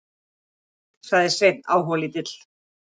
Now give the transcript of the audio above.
Einmitt, sagði Sveinn áhugalítill.